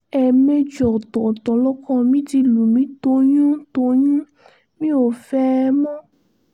ẹ̀ẹ̀mejì ọ̀tọ̀ọ̀tọ̀ lọkọ mi ti lù mí toyyún-tọ̀yún mi ò fẹ́ ẹ mọ́